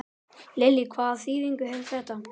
Lillý: Hvaða þýðingu hefur þetta?